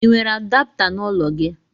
l nwere adapta na ụlọ gi?